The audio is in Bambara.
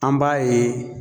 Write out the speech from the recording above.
An b'a ye